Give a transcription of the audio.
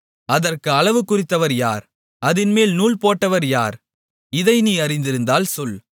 அதற்கு அளவு குறித்தவர் யார் அதின்மேல் நூல்போட்டவர் யார் இதை நீ அறிந்திருந்தால் சொல்